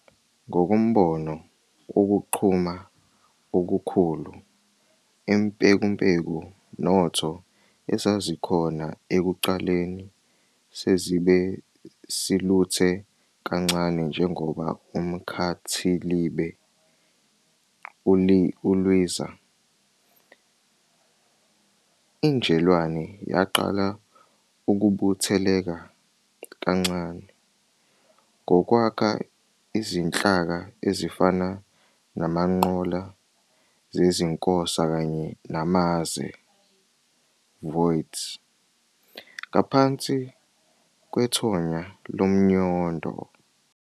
Ngokombono wokuqhuma okukhulu, impekumpeku notho ezazikhona ekuqaleni sezibe siluthe kancane njengoba umkhathilibe ulwiza. Injelwane yaqala ukubutheleka kancane, ngokwakha izinhlaka ezifana namangqola zezinkosa kanye namaze"voids" ngaphansi kwethonya lomnyondo.